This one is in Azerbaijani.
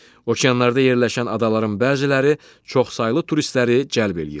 Okeanlarda yerləşən adaların bəziləri çoxsaylı turistləri cəlb eləyir.